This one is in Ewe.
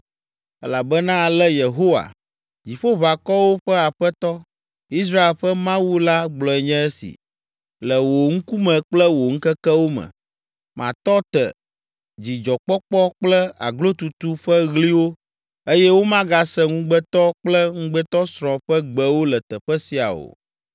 Elabena ale Yehowa, Dziƒoʋakɔwo ƒe Aƒetɔ, Israel ƒe Mawu la gblɔe nye esi: ‘Le wò ŋkume kple wò ŋkekewo me, matɔ te dzidzɔkpɔkpɔ kple aglotutu ƒe ɣliwo eye womagase ŋugbetɔ kple ŋugbetɔsrɔ̃ ƒe gbewo le teƒe sia o.’